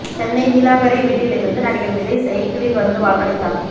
சென்னை நீலாங்கரை வீட்டில் இருந்து நடிகர் விஜய் சைக்கிளில் வந்து வாக்களித்தார்